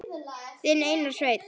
Þinn Einar Sveinn.